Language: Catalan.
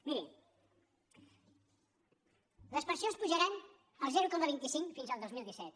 miri les pensions pujaran el zero coma vint cinc fins al dos mil disset